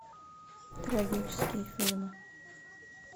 трагические фильмы